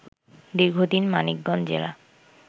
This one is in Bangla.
দীর্ঘদিন মানিকগঞ্জ জেলা